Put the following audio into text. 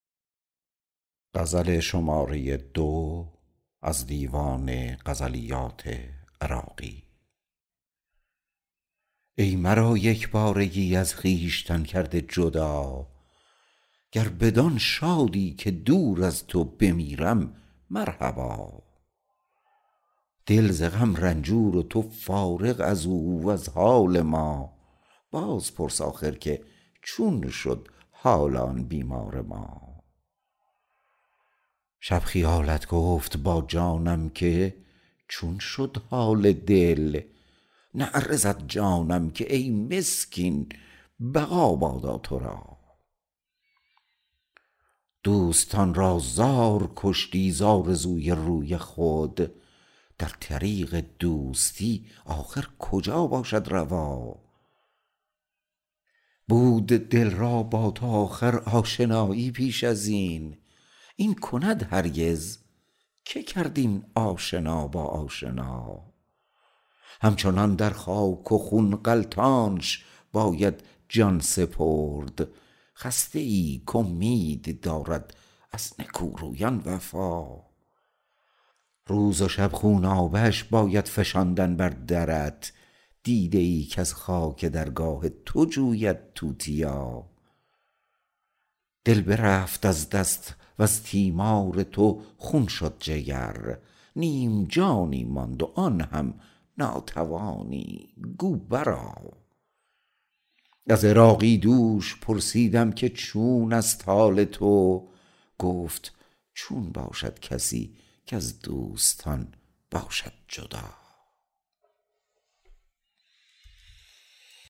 ای مرا یک بارگی از خویشتن کرده جدا گر بدآن شادی که دور از تو بمیرم مرحبا دل ز غم رنجور و تو فارغ ازو وز حال ما بازپرس آخر که چون شد حال آن بیمار ما شب خیالت گفت با جانم که چون شد حال دل نعره زد جانم که ای مسکین بقا بادا تو را دوستان را زار کشتی ز آرزوی روی خود در طریق دوستی آخر کجا باشد روا بود دل را با تو آخر آشنایی پیش ازین این کند هرگز که کرد این آشنا با آشنا هم چنان در خاک و خون غلتانش باید جان سپرد خسته ای کامید دارد از نکورویان وفا روز و شب خونابه اش باید فشاندن بر درت دیده ای کز خاک درگاه تو جوید توتیا دل برفت از دست وز تیمار تو خون شد جگر نیم جانی ماند و آن هم ناتوانی گو بر آ از عراقی دوش پرسیدم که چون است حال تو گفت چون باشد کسی کز دوستان باشد جدا